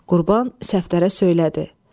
Qurban Səfdərə söylədi: